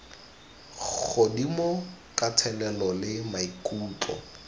godimo ka thelelo le maikutlo